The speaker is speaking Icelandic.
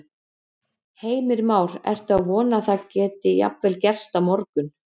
Heimir Már: Ertu að vona að það geti jafnvel gerst á morgun?